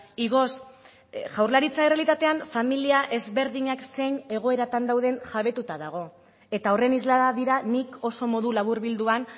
igoz jaurlaritza errealitatean familia ezberdinak zein egoeratan dauden jabetuta dago eta horren islada dira nik oso modu laburbilduan